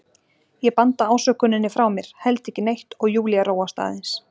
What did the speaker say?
Ég banda ásökuninni frá mér, held ekki neitt, og Júlía róast aðeins.